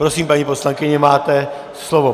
Prosím, paní poslankyně, máte slovo.